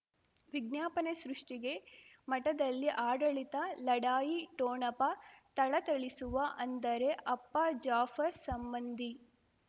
ವಿಜ್ಞಾಪನೆ ಸೃಷ್ಟಿಗೆ ಮಠದಲ್ಲಿ ಆಡಳಿತ ಲಢಾಯಿ ಠೋಣಪ ಥಳಥಳಿಸುವ ಅಂದರೆ ಅಪ್ಪ ಜಾಫರ್ ಸಂಬಂಧಿ